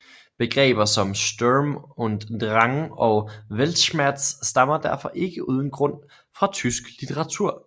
Begreber som Sturm und Drang og Weltschmerz stammer derfor ikke uden grund fra tysk litteratur